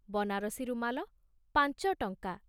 ବନାରସୀ ରୁମାଲ ପାଂଚ ଟଂକା